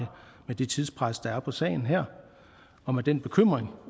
med det tidspres der er på sagen her og med den bekymring